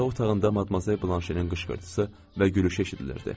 Yataq otağında Madmazel Blanşenin qışqırtısı və gülüşü eşidilirdi.